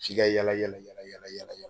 F'i ka yaala yaala.